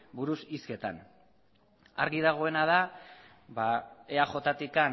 buruz hizketan argi dagoena da eajtik